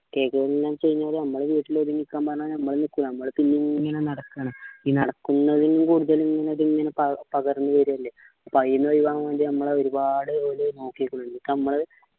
കേൾക്കുന്നില്ല എന്ന് വച്ച് കഴിഞ്ഞാ ഞമ്മള് വീട്ടില് ഒതുങ്ങി നിക്കാൻ പറഞ്ഞാൽ നമ്മൾ നിൽക്കില്ല നമ്മള് പിന്നെയും പിന്നെ ഇങ്ങനെ നടക്കാണ് ഈ നടക്കുന്നത് കൂടെത്തന്നെ ഇതങ്ങ് പകർന്ന് വരല്ലേ അപ്പോ അയിന് ഒഴിവാക്കാൻ വേണ്ടി നമ്മളെ ഒരുപാട് ഓര് നോക്കിക്കണ് എന്നിട്ട് നമ്മള്